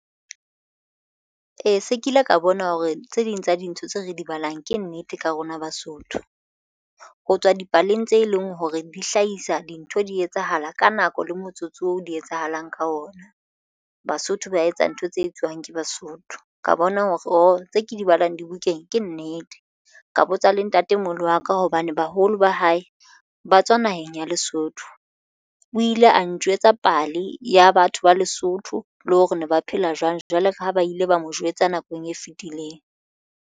Ee, se kile ka bona hore tse ding tsa dintho tse re di balang ke nnete ka rona Basotho ho tswa dipaleng tse leng hore di hlahisa dintho di etsahala ka nako le motsotso oo di etsahalang ka ona. Basotho ba etsa ntho tse etsiwang ke Basotho ka bona hore oo tse ke di balwang dibukeng ke nnete ka botsa le ntatemoholo wa ka hobane baholo ba hae ba tswa naheng ya Lesotho o ile a njwetsa pale ya batho ba Lesotho le hore ne ba phela jwang jwale ka ha ba ile ba mo jwetsa nakong e fitileng.